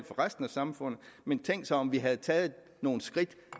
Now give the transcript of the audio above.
resten af samfundet men tænk så om vi havde taget nogle skridt